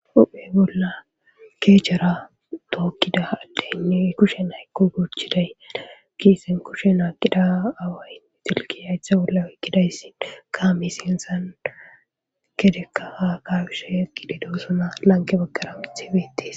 Huphe bolla keechara tookkida addeynne kushe naykko guchiday kiisen kushe naaqida awaye silki haytha bolla wikkidayssin kaami sinsan kedekka a kabisha yaqi didosuna lanke bakkaraithbetis.